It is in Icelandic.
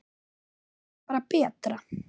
Er það kannski bara betra?